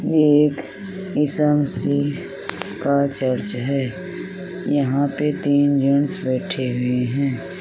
ये एक ईसामसी का चर्च है। यहाँ पे तीन जेन्स बैठे हुए हैं।